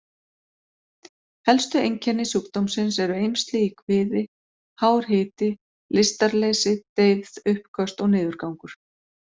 Helstu einkenni sjúkdómsins eru eymsli í kviði, hár hiti, lystarleysi, deyfð, uppköst og niðurgangur.